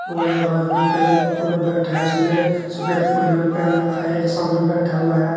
और एक आदमी परे मुंह करके बैठा है उसने सफ़ेद बनियान पहन रखा है एक सामने बैठा हुआ है।